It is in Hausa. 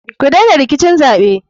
Kudena rikicin zaɓe.